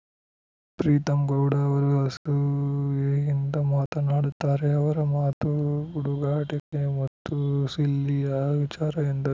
ಪ್ರೀತಂ ಗೌಡ ಅವರು ಅಸೂಯೆಯಿಂದ ಮಾತನಾಡುತ್ತಾರೆ ಅವರ ಮಾತು ಹುಡುಗಾಟಿಕೆ ಮತ್ತು ಸಿಲ್ಲಿಯ ವಿಚಾರ ಎಂದರು